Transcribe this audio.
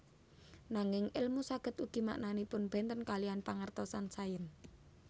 Nanging èlmu saged ugi maknanipun bènten kaliyan pengertosan sains